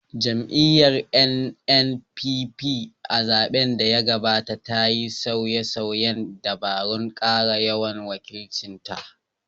Jam’iyyar NNPP, a zaɓen da ya gabata, ta yi sauye-sauyen dabarun kara yawan wakilcin ta